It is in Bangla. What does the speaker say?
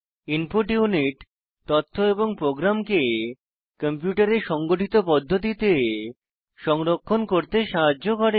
ইনপুট ইউনিট তথ্য এবং প্রোগ্রামকে কম্পিউটারে সংগঠিত পদ্ধতিতে সংরক্ষণ করতে সাহায্য করে